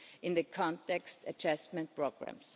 in the context adjustment programmes.